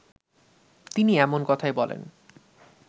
তিনি এমন কথাই বলেন